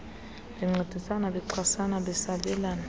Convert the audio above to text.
bencedisana bexhasana besabelana